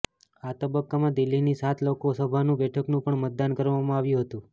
આ તબક્કામાં દિલ્હીની સાત લોકસભાની બેઠકનું પણ મતદાન કરવામાં આવ્યું હતું